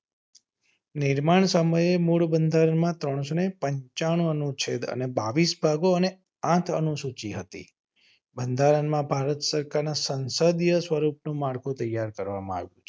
નિર્માણ સમયે મૂળ બંધારણમાં ત્રણસો ને પચાસ અનુ છે અને બાવીસ ભાગો અને આઠ અનુસૂચિ હતી. બંધારણમાં ભારત સરકારના સંસદીય સ્વરૂપ માળખું તૈયાર કરવામાં આવ્યું છે